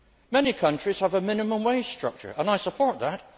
Many countries have a minimum wage structure and I support that.